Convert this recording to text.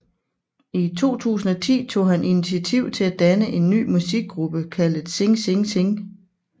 I 2010 tog han initiativ til at danne en ny musikgruppe kaldet Sing Sing Sing